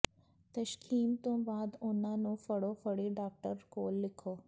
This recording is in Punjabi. ਤਸ਼ਖ਼ੀਸ ਤੋਂ ਬਾਅਦ ਉਨ੍ਹਾਂ ਨੂੰ ਫੜੋ ਫੜੀ ਡਾਕਟਰ ਕੋਲ ਲਿਖੋ